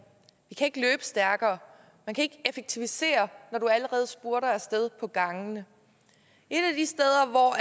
vi kan ikke løbe stærkere man kan ikke effektivisere når du allerede spurter af sted på gangene et